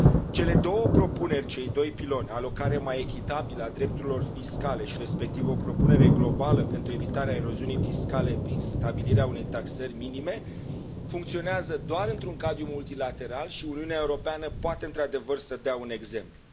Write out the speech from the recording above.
Cele două propuneri, cei doi piloni alocare mai echitabilă a drepturilor fiscale și, respectiv, o propunere globală pentru evitarea eroziunii fiscale prin stabilirea unei taxări minime funcționează doar într un cadru multilateral și Uniunea Europeană poate, într adevăr, să dea un exemplu.